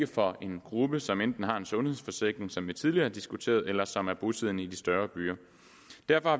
for den gruppe som enten har en sundhedsforsikring som vi tidligere diskuterede her eller som er bosiddende i de større byer